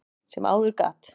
sem áður gat.